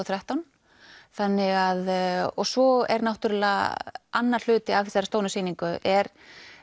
þrettán þannig að svo er náttúrlega annar hluti af þessari stóru sýningu er